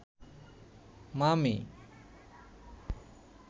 মামী